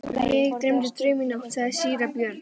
Mig dreymdi draum í nótt, sagði síra Björn.